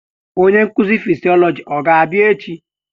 Onye nkuzi fịsiolojị ọ ga-abịa echi?